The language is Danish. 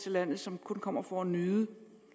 til landet som kun kommer for at nyde